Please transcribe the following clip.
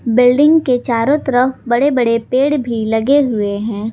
Building के चारों तरफ बड़े बड़े पेड़ भी लगे हुए हैं।